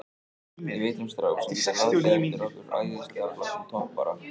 Ég veit um strák sem getur látið okkur fá æðislega flottan toppara.